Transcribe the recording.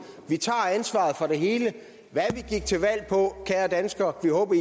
vi tager ansvaret for det hele hvad vi gik til valg på kære danskere håber